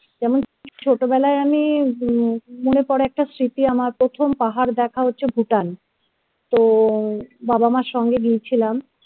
যেমন ছোটবেলায় আমি মনে কর একটা স্মৃতি আমার প্রথম পাহাড় দেখা হচ্ছে Bhutan তো বাবা মার সঙ্গে গিয়েছিলাম